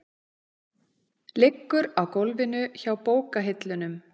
Liggur á gólfinu hjá bókahillunum.